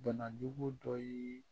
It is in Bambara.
Banajugu dɔ ye